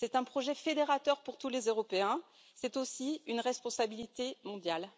C'est un projet fédérateur pour tous les Européens, c'est aussi une responsabilité mondiale.